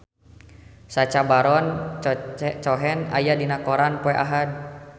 Sacha Baron Cohen aya dina koran poe Ahad